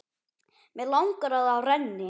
Mig langar að það renni.